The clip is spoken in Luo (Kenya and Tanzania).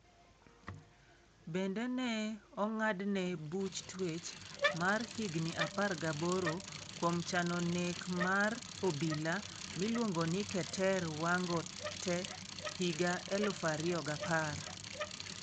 Bende ne ong'adne buch twech mar higini 18 kuom chano nek mar obila miluongo ni Keter Wango t e higa 2010.